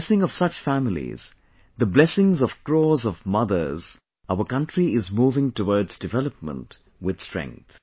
With the blessing of such families, the blessings of crores of mothers, our country is moving towards development with strength